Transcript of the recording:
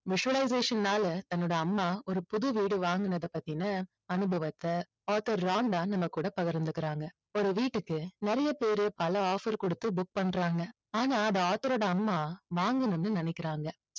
visualization னால தன்னோட அம்மா ஒரு புது வீடு வாங்கினது பத்தின அனுபவத்தை author ராண்டா நம்ம கூட பகிர்ந்துக்குறாங்க. ஒரு வீட்டுக்கு நிறைய பேர் பல offer கொடுத்து book பண்றாங்க. ஆனா அது author ரோட அம்மா வாங்கணும்னு நினைக்குறாங்க.